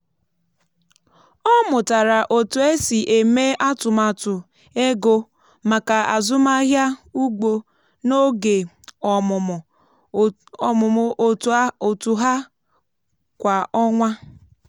ọ mụtara otu esi eme atụmatụ ego maka azụmahịa ugbo n’oge ọmụmụ otu ha kwa ọnwa.